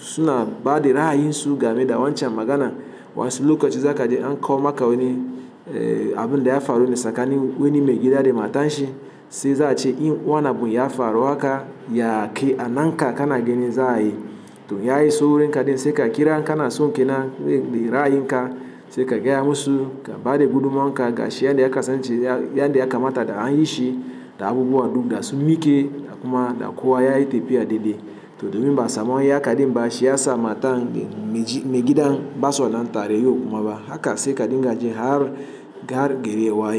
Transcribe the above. suna ba da ra'ayin su game da wancan magana. Wasu lokacin za ka je an koya maka wani, eh abin da ya faru ne tsakani wani maigida da matan shi sai za a ce in wannan bun ya faru haka ya ake a nan ka kana ganin za'a yi. To ya yi so wurin ka dai sai ka kira an ka nason kenan dai ra'ayi ka sai ka gaya musu ka ba da gudummawan ka ga shi yadda ya kasance yadda ya kamata da an yi shi da abubuwa duk da su miƙe da kuma da kowa ya yi tafiya daidai. To domin ba a samu yadda kaɗai ba shi ya sa matan mai, maigidan ba sa nan tare yau kuma ba haka sai ka dinga jin har, ga har gari ya waye.